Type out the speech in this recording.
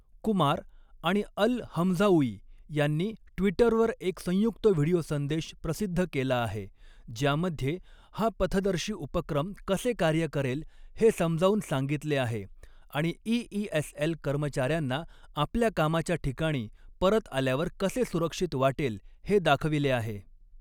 कुमार आणि Al Hamzaoui यांनी ट्विटरवर एक संयुक्त व्हिडिओ संदेश प्रसिद्ध केला आहे ज्यामध्ये हा पथदर्शी उपक्रम कसे कार्य करेल हे समजावून सांगितले आहे आणि ईईएसएल कर्मचाऱ्यांना आपल्या कामाच्या ठिकाणी परत आल्यावर कसे सुरक्षित वाटेल हे दाखविले आहे.